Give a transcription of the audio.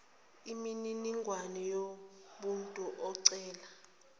imininingwane yomuntu ocela